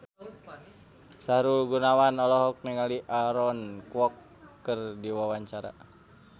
Sahrul Gunawan olohok ningali Aaron Kwok keur diwawancara